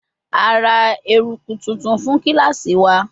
A ra eruku tuntun fun kilasi wa